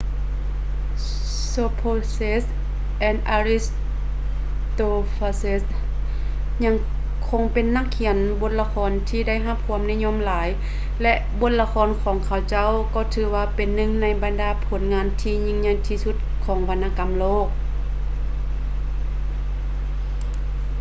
sophocles ແລະ aristophanes ຍັງຄົງເປັນນັກຂຽນບົດລະຄອນທີ່ໄດ້ຮັບຄວາມນິຍົມຫຼາຍ ແລະ ບົດລະຄອນຂອງເຂົາເຈົ້າກໍຖືວ່າເປັນໜຶ່ງໃນບັນດາຜົນງານທີ່ຍິ່ງໃຫຍ່ທີ່ສຸດຂອງວັນນະກຳໂລກ